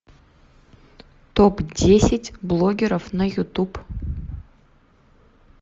топ десять блогеров на ютуб